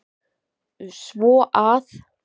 Svo að.